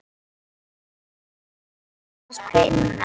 Og neyðin kennir mér að spinna.